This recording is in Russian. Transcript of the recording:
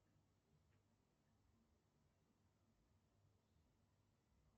значит вы читаете фразу про себя